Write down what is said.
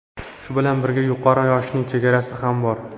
Shu bilan birga yuqori yoshning chegarasi ham bor.